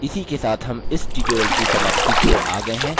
इसी के साथ हम इस tutorial की समाप्ति की ओर आ गये हैं